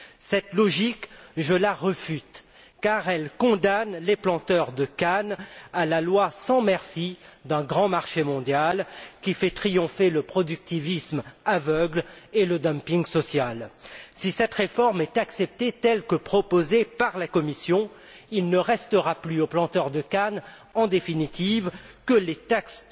Cette logique, je la réfute, car elle condamne les planteurs de canne à la loi sans merci d'un grand marché mondial, qui fait triompher le productivisme aveugle et le dumping social. Si cette réforme est acceptée telle que proposée par la Commission, il ne restera plus aux planteurs de canne, en définitive, que les taxes